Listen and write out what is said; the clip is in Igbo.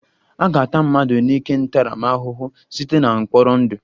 A ga-ata mmadụ n'ike ntaramahụhụ site na mkpọrọ ndụ